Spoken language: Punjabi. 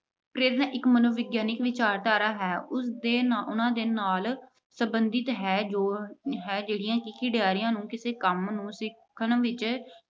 ਪ੍ਰੇਰਨਾ ਇੱਕ ਮਨੋਵਿਗਿਆਨਕ ਵਿਚਾਰਧਾਰਾ ਹੈ। ਉਸਦੇ ਅਹ ਉਹਨਾਂ ਦੇ ਨਾਲ ਸਬੰਧਿਤ ਹੈ ਜੋ ਹੈ ਅਹ ਜਿਹੜੀਆਂ ਖਿਡਾਰੀਆਂ ਨੂੰ ਕਿਸੇ ਕੰਮ ਨੂੰ ਸਿੱਖਣ ਵਿੱਚ